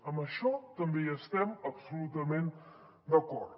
en això també hi estem absolutament d’acord